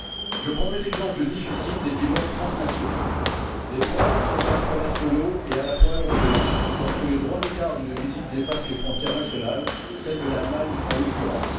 Je prendrai l'exemple difficile des divorces transnationaux les problèmes sont à la fois nationaux et européens, lorsque les droits de garde ou de visite dépassent les frontières nationales, celles de l'Allemagne en l'occurrence.